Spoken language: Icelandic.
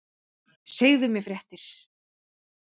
Segðu mér fréttir!